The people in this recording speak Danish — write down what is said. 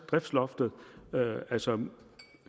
driftsloftet altså